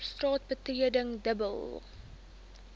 straat betreding dobbel